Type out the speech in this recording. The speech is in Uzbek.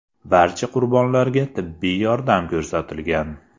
Barcha qurbonlarga tibbiy yordam ko‘rsatilgan.